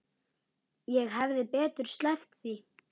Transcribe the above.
Ég hefði betur sleppt því.